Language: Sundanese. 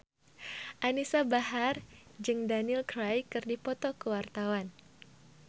Anisa Bahar jeung Daniel Craig keur dipoto ku wartawan